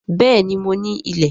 Béèni mo ní ilẹ̀